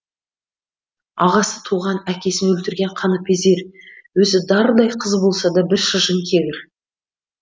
ағасы туған әкесін өлтірген қаныпезер өзі дардай қыз болса да бір шыжың кегір